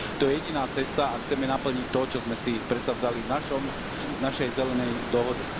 To je jediná cesta, ak chceme naplniť to, čo sme si predsavzali v našom, v našej zelenej dohode.